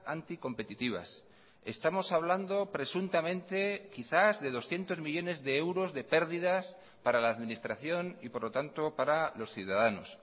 anticompetitivas estamos hablando presuntamente quizás de doscientos millónes de euros de pérdidas para la administración y por lo tanto para los ciudadanos